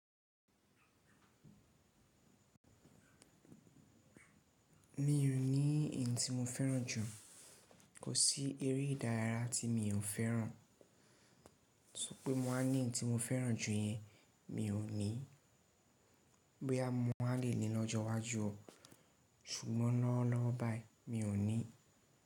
Mi ò ní èyí tí mo fẹ́ràn jù, kò sí eré ìdárayá tí mi ò fẹ́ràn. So pẹ́ mo wáa ní ohun tí mo fẹ́ràn jù yẹn, mi ò ní. Boya mọ̀ wa lè ní lọ́jọ́ iwájú o, ṣùgbọ́n lọ́wo lọwo bayii mi ò ní.